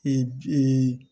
Ee